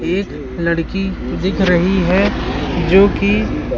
एक लड़की दिख रही है जो कि--